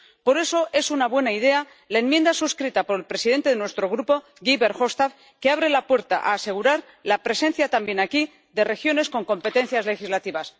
Por eso, es una buena idea la enmienda suscrita por el presidente de nuestro grupo, Guy Verhofstadt, que abre la puerta a asegurar la presencia, también aquí, de regiones con competencias legislativas.